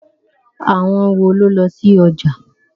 Àwọn wo ló lọ sí ọjà?